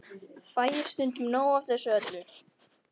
Fæ ég stundum nóg af þessu öllu?